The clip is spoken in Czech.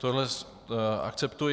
Tohle akceptuji.